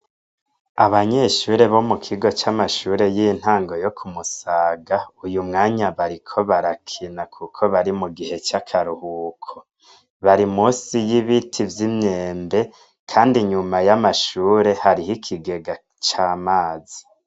Abanyeshure bo mu kigo c'amashure y'intango yo ku Musaga uyu mwanya bariko barakina kuko bari mu gihe c'akaruhuko bari munsi y'ibiti vy'imyembe kandi nyuma y'amashure hariho ikigega c'amazi.